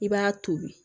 I b'a tobi